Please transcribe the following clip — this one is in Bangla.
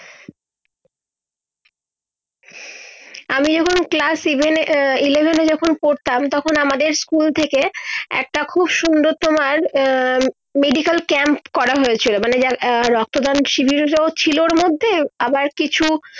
আমি এই গুলো class event আহ eleven যখন পরতাম তখন আমাদের school থেকে একটা খুব সুন্দর তোমান আহ মেডিকেল camp করা হয়েছি মানে যা আহ রক্ত দান শিবিরে ও ছিলোর মধ্যে আবার কিছু